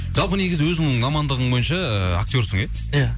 жалпы негізі өзінің мамандығың бойынша актерсің иә иә